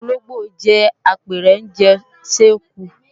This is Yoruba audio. Ológbò jẹ́ apẹranjè séku